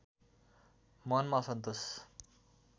मनमा असन्तोष